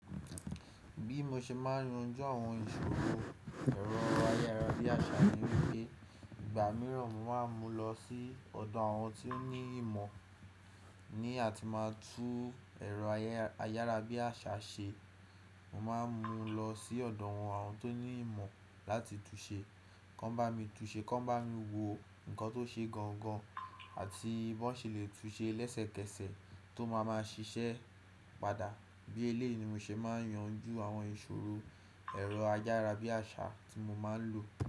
Bí mo ṣe máa ń yanjú àwọn ìṣòro ẹ̀rọ ayárabíàṣá ni wípé, ìgbà mìíràn mo máa ń mú lọ sí ọ̀dọ̀ àwọn ti ó ní ìmọ̀, ní àti máa tú ẹ̀rọ ayárabíàṣá ṣe. Mo máa ń mú lọ sí ọ̀dọ̀ àwọn tó ní ìmọ̀ láti tú ṣe. Kàn bá mi tú ṣe, kàn bá mi wò nǹkan tó ṣe gangan àti bí wọ́n ṣe le tú ṣe lẹ́sẹ̀kẹsẹ̀ tó máa máa ṣiṣẹ́ padà. Bí eléyìí ni mo ṣe máa ń yanjú àwọn ìṣòro ẹ̀rọ ayárabíàṣá tí mo máa ń lò.